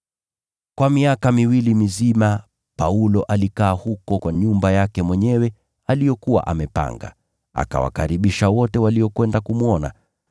Kwa miaka miwili mizima Paulo alikaa huko kwa nyumba aliyokuwa amepanga. Akawakaribisha wote waliokwenda kumwona.